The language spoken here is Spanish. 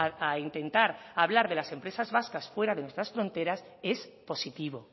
a intentar a hablar de las empresas vascas fuera de nuestras fronteras es positivo